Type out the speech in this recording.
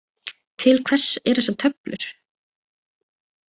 Til hvers eru þessar töflur?